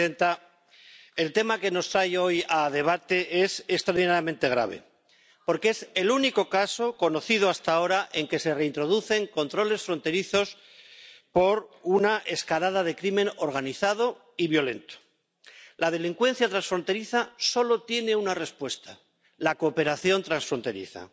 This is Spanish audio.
Señora presidenta, el tema que nos trae hoy a debate es extraordinariamente grave, porque es el único caso conocido hasta ahora en que se reintroducen controles fronterizos por una escalada del crimen organizado y violento. La delincuencia transfronteriza solo tiene una respuesta la cooperación transfronteriza.